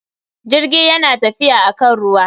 Jirgi yana tafiya akan ruwa.